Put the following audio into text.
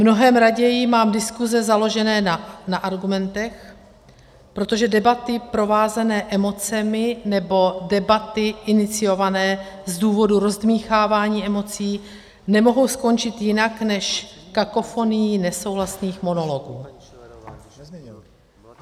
Mnohem raději mám diskuse založené na argumentech, protože debaty provázené emocemi nebo debaty iniciované z důvodu rozdmýchávání emocí nemohou skončit jinak než kakofonií nesouhlasných monologů.